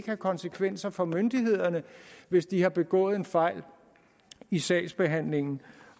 have konsekvenser for myndighederne hvis de har begået en fejl i sagsbehandlingen